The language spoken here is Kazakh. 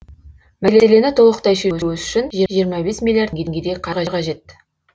мәселені толықтай шешу үшін жиырма бес миллиард теңгедей қаржы қажет